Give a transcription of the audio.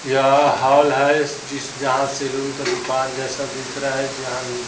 यह हॉल है। इस जिस जहाँ से सैलून का दुकान जैसा दिख रहा है। जहाँ --